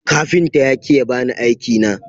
Kafinta ya ki ya bani aiki na.